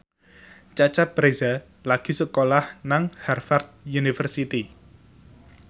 Cecep Reza lagi sekolah nang Harvard university